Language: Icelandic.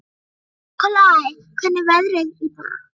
Nikolai, hvernig er veðrið í dag?